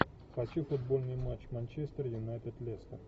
хочу футбольный матч манчестер юнайтед лестер